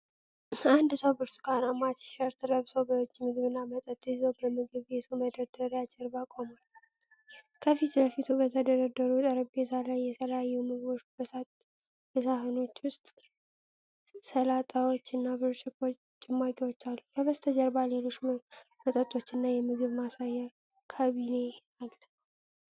አንድ ሰው ብርቱካንማ ቲሸርት ለብሶ በእጁ ምግብና መጠጥ ይዞ በምግብ ቤቱ መደርደሪያ ጀርባ ቆሟል። ከፊት ለፊቱ በተደረደሩት ጠረጴዛ ላይ የተለያዩ ምግቦች በሳህኖች ውስጥ፣ ሰላጣዎች እና ብርጭቆ ጭማቂዎች አሉ። ከበስተጀርባ ሌሎች መጠጦችና የምግብ ማሳያ ካቢኔ አለ።